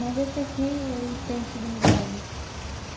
Mas esse aqui, ele tem o segundo grau, né?